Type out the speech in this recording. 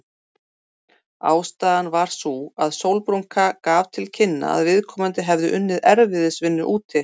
Ástæðan var sú að sólbrúnka gaf til kynna að viðkomandi hefði unnið erfiðisvinnu úti.